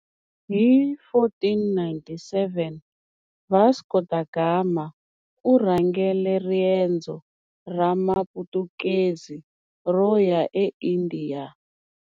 Hi 1497, Vasco da Gama u rhangele riendzo ra Maputukezi ro ya eIndiya.